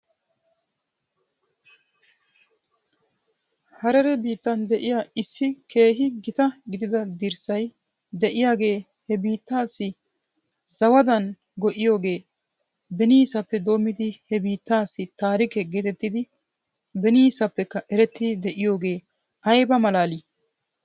Harere biittan de'iyaa issi keehi gita gidida dirssay de'iyaagee he biittaassi zawadan go'iyoogee beniisappe doommidi he biittaassi taarike geetettidi beniisappekka erettidi de'iyoogee ayba malaalii?